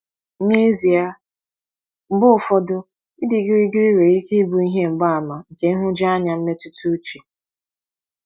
N’ezie, mgbe ụfọdụ ịdị gịrịgịrị nwere ike ịbụ ihe mgbaàmà nke nhụjuanya mmetụta uche.